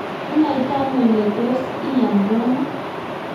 inaitano ile tos iyanRono?